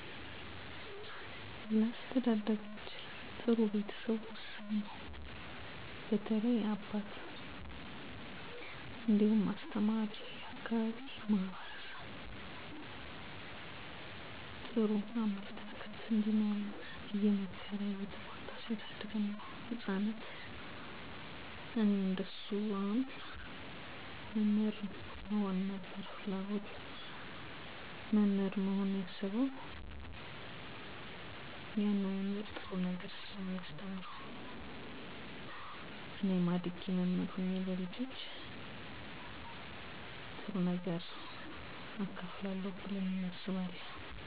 በአስተዳደግዎ ውስጥ ጉልህ ሚና የተጫወቱ የተወሰኑ ሰዎች (የቤተሰብ አባላት፣ ጓደኞች፣ አስተማሪዎች ወዘተ) ነበሩ? አዎ ነበሩ በተለይ ቤተሰቤ ውስጥ አባቴ የተለየ አስተዋፅኦ አበርክቶልኛል ሌሎች ውስጥ መምራኖቼ እንዴትስ ተጽዕኖ አሳድረውብዎታል አባቴ የማህበረሰቡ ውስጥ የተከበረ ሰው ወዳድ ነበር እናም እኔም የእሱን እሴቶች ጠብቄ እንድኖር እና ለዛሬ ጥንካሬየን አስጠብቄ ህይወቴን እንድመራ አድርጎኛል ሌላም የአካባቢው ማህበረሰብ ሲሆን በተለይ የሳይንስ መምህሮቼ ለሳይንስ ልዬ ትኩረት እንድሰጥ አድጌ የእነሱን ፈለግ እንድከተል አድርገዋል እኔም እንደነሱ መምህር ለመሆን ነበር ፍለጎቴ